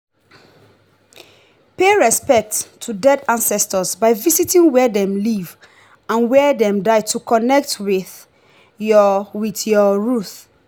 pay respect to dead ancestors by visiting where dem live and where dem die to connect with your with your root.